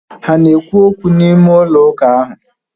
Ha ana ekwu okwu n'ime ụlọ ahu?